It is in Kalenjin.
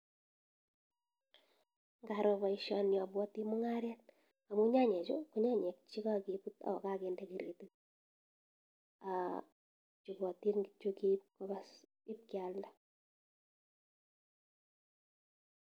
Ngaroo paishanii apwatii mungaret amuu nyanyechuu koo nyanyek chee kakeput akendee kretit ripatin kityok ipkealnda